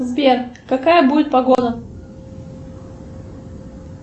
сбер какая будет погода